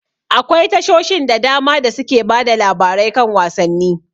Akwai tashoshin da dama da suke bada labarai kan wasanni.